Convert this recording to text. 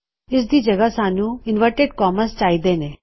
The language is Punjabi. ਇਸ ਦੀ ਜਗਹ ਸਾਨੂੰ ਇਨਵਰਟਿਡ ਕੋਮਾਸ ਚਾਹਿਦੇ ਨੇ